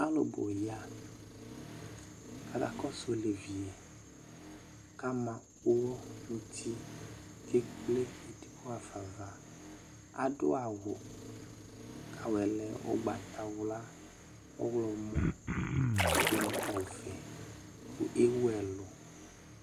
Alʋ nʋ ya k'aka kɔsʋ olevi yɛ k'ama ʋwɔ n'uti, k'ekple edigbo hafa va Adʋ awʋ k'awʋ yɛ lɛ ʋgbatawla, ɔɣlɔmɔ dʋ nʋ ɔvɛ, kʋ ewu ɛlʋ